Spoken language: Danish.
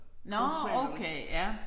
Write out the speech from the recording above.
Nåh okay ja